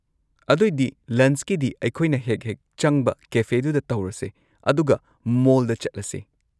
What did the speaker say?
ꯑꯗꯣꯏꯗꯤ ꯂꯟꯆꯀꯤꯗꯤ ꯑꯩꯈꯣꯏꯅ ꯍꯦꯛ-ꯍꯦꯛ ꯆꯪꯕ ꯀꯦꯐꯦꯗꯨꯗ ꯇꯧꯔꯁꯦ ꯑꯗꯨꯒ ꯃꯣꯜꯗ ꯆꯠꯂꯁꯦ꯫